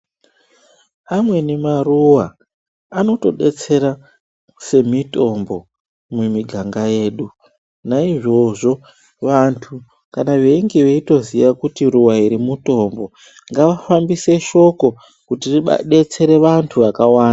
Amweni maruwa anotodetsera semitombo mumiganga yedu naizvozvo vantu kana veitoziva kuti ruwa iri mutombo ngavafambise shoko kuti ridetsere vantu vakawanda.